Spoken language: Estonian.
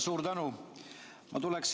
Suur tänu!